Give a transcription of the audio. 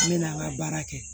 N bɛna n ka baara kɛ